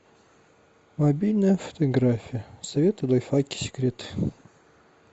мобильная фотография советы лайфхаки секреты